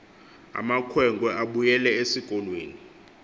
amakhwenkwe abuyele esikolweni